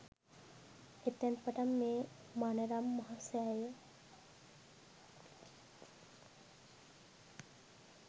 එතැන් පටන් මේ මනරම් මහ සෑය